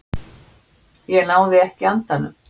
Ég náði ekki andanum.